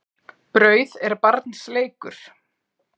Brauð er barns leikur.